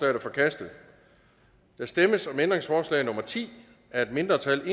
er forkastet der stemmes om ændringsforslag nummer ti af et mindretal